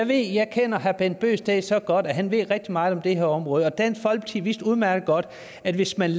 det jeg kender herre bent bøgsted så godt at han ved rigtig meget om det her område og dansk folkeparti vidste udmærket godt at hvis man